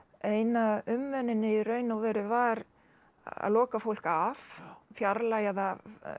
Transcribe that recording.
eina umönnunin í raun og veru var að loka fólk af fjarlægja það